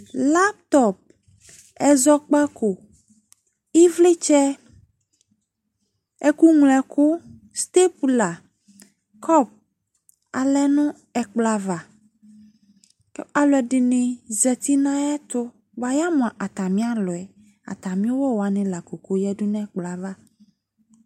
Laptop, ɛzɔkpako, evletsɛ , ɛku ñlo ɛku, stepula, kɔp alɛ no ɛkplɔ ava ko ɛlude ne zati nayeto boa yamo atame alɔɛAtame uwɔ wane lako kɔ yadu no ɛkplɔ ava